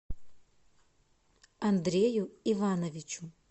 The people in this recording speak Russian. андрею ивановичу